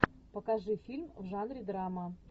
покажи фильм в жанре драма